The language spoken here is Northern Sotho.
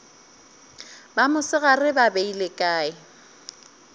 ba mosegare ba beile kae